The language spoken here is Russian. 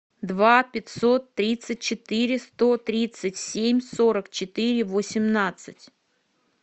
два пятьсот тридцать четыре сто тридцать семь сорок четыре восемнадцать